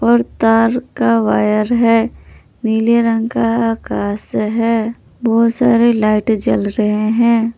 और तार का वायर है नीले रंग का आकाश है बहुत सारे लाइट जल रहे हैं।